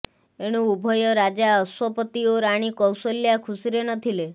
ଏଣୁ ଉଭୟ ରାଜା ଅଶ୍ବପତି ଓ ରାଣୀ କୌଶଲ୍ୟା ଖୁସିରେ ନଥିଲେ